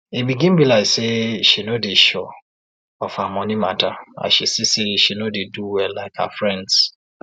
e begin be like say she no dey sure of her monie matter as she see say she no dey do well like her friends